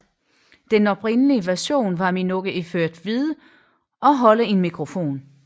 Den oprindelige version var Minogue iført hvide og holde en mikrofon